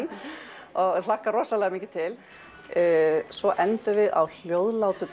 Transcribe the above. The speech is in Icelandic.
og hlakka rosamikið til svo endum við á hljóðlátu